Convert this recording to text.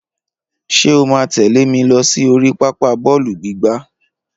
Ṣé o máa tẹ̀lé mi lọ sí oríi pápá bọ́ọ̀lù gbígbá?